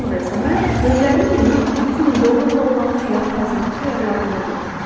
Sonra isə mən gözlərimi yumub 100 min dollarla olan həyat tərzimi xəyallarımda qururdum.